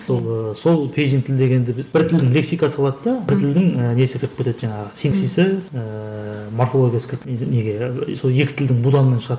сол ыыы сол пейджинг тіл дегенді біз бір тілдің лексикасы болады да бір тілдің ііі несі кіріп кетеді де жаңағы ііі морфологиясы кіріп неге ііі сол екі тілдің буданынан шығады